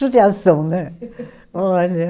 Judiação, né? Olha